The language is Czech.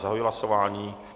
Zahajuji hlasování.